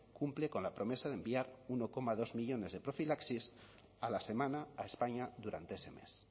cumple con la promesa de enviar uno coma dos millónes de profilaxis a la semana a españa durante ese mes